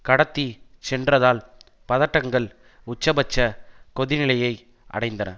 கடத்தி சென்றதால் பதட்டங்கள் உச்சபட்ச கொதிநிலையை அடைந்தன